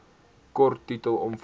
kort titel omvang